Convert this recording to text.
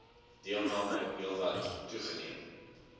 deelname heelwat toegeneem